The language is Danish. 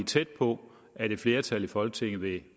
tæt på at et flertal i folketinget vil